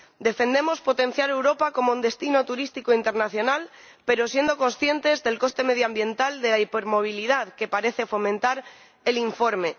Defendemos potenciar Europa como un destino turístico internacional, pero siendo conscientes del coste medioambiental de la hipermovilidad que parece fomentar el informe.